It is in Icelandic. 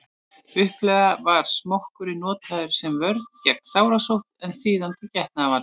upphaflega var smokkurinn notaður sem vörn gegn sárasótt en síðar til getnaðarvarna